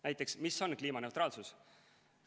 Näiteks, mis on kliimaneutraalsus?